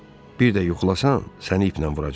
Bir də yuxulasan, səni iplə vuracam.